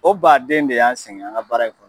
O baaden de y'an sɛngɛ an ka baara in kɔrɔ.